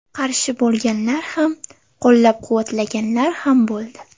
Qarshi bo‘lganlar ham, qo‘llab-quvvatlaganlar ham bo‘ldi.